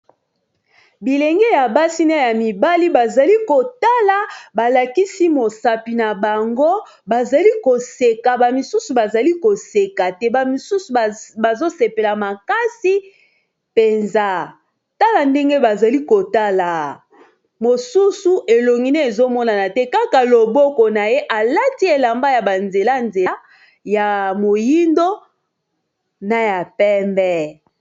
Bilenge ya basi na ya mibali bazali kotala ba lakisi mosapi na bango bazali koseka ba misusu bazali koseka te ba misusu bazo sepela makasi mpenza tala ndenge bazali kotala mosusu elongine ezomonana te kaka loboko na ye alati elamba ya banzela-nzela ya moyindo na ya pembe.